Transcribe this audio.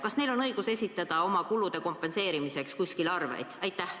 Kas neil on õigus esitada oma kulude kompenseerimiseks kuskile arveid?